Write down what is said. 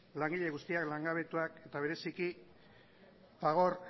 langile guztiak langabetuak eta bereziki fagor